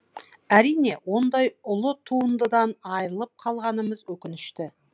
әрине ондай ұлы туындыдан айырылып қалғанымыз өкінішті